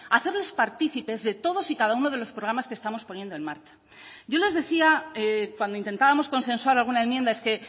hacerles partícipes de todos y cada uno de los programas que estamos poniendo en marcha yo les decía cuando intentábamos consensuar alguna enmienda es que